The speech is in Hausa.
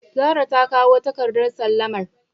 Zara takawo takardar sallamar.